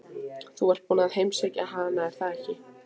Þú ert búinn að heimsækja hana, er það ekki?